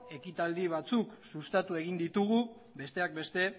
ekitaldi batzuk sustatu egin ditugu besteak beste